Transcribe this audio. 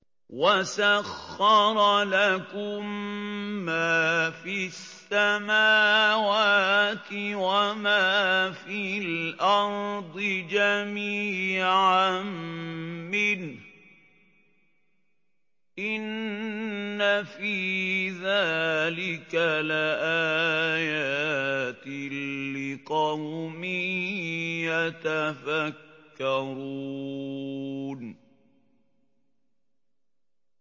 وَسَخَّرَ لَكُم مَّا فِي السَّمَاوَاتِ وَمَا فِي الْأَرْضِ جَمِيعًا مِّنْهُ ۚ إِنَّ فِي ذَٰلِكَ لَآيَاتٍ لِّقَوْمٍ يَتَفَكَّرُونَ